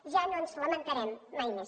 ja no ens lamentarem mai més